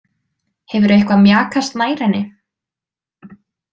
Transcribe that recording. Hefurðu eitthvað mjakast nær henni?